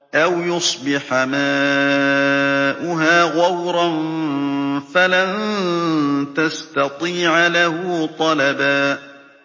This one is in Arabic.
أَوْ يُصْبِحَ مَاؤُهَا غَوْرًا فَلَن تَسْتَطِيعَ لَهُ طَلَبًا